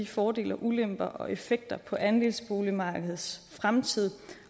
fordele og ulemper og effekter for andelsboligmarkedets fremtid